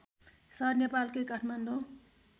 सहर नेपालकै काठमाडौँ